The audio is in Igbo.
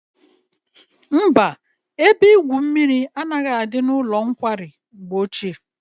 Mba, ebe igwu mmiri anaghị adị n'ụlọ nkwari mgbe ochie.